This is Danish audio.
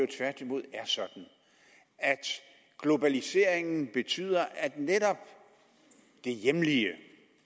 tværtimod er sådan at globaliseringen betyder at netop det hjemlige